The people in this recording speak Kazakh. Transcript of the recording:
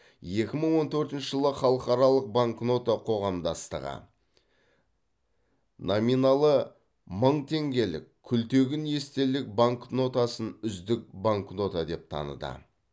екі мың он төртінші жылы халықаралық банкнота қоғамдастығы номиналы мың теңгелік күлтегін естелік банкнотасын үздік банкнота деп таныды